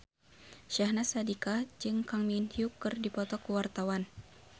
Syahnaz Sadiqah jeung Kang Min Hyuk keur dipoto ku wartawan